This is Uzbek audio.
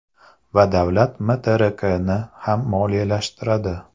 Va davlat MTRKni ham moliyalashtiradi.